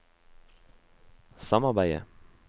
samarbeidet